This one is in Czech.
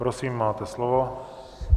Prosím, máte slovo.